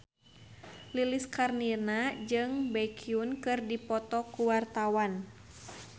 Lilis Karlina jeung Baekhyun keur dipoto ku wartawan